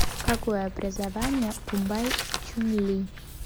какое образование у бай чуньли